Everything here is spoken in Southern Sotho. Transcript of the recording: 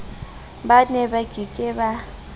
ba neba ke ke ba